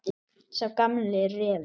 Sá gamli refur.